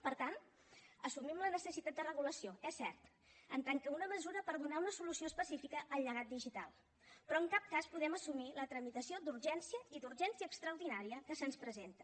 per tant assumim la necessitat de regulació és cert en tant que una mesura per donar una solució específica al llegat digital però en cap cas podem assumir la tramitació d’urgència i d’urgència extraordinària que se’ns presenta